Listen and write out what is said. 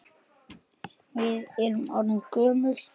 Við erum orðin gömul.